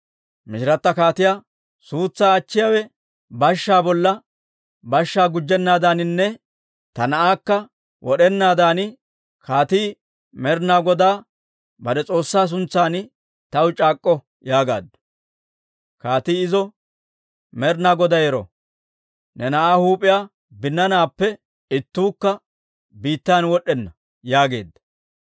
Mishirata kaatiyaa, «Suutsaa achchiyaawe bashshaa bolla bashshaa gujjennaadaaninne ta na'aakka wod'enaadan kaatii Med'inaa Godaa bare S'oossaa suntsan taw c'aak'k'o» yaagaaddu. Kaatii izo, «Med'inaa Goday ero! Ne na'aa huup'iyaa binnaanaappe ittuukka biittan wod'd'enna» yaageedda.